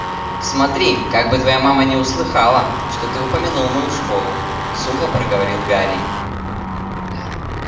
смотри как бы твоя мама не услыхала что ты упомянул мою школу сухо проговорил гарри